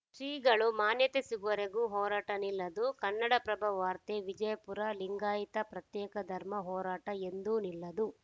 ಶ್ರೀಗಳು ಮಾನ್ಯತೆ ಸಿಗುವರೆಗೂ ಹೋರಾಟ ನಿಲ್ಲದು ಕನ್ನಡಪ್ರಭ ವಾರ್ತೆ ವಿಜಯಪುರ ಲಿಂಗಾಯತ ಪ್ರತ್ಯೇಕ ಧರ್ಮ ಹೋರಾಟ ಎಂದೂ ನಿಲ್ಲದು